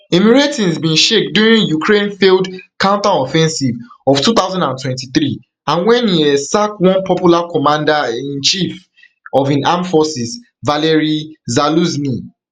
im ratings bin shake during ukraine failed counteroffensive of two thousand and twenty-three and wen e um sack one popular commander um in chief of im armed forces valeriy zaluzhnyi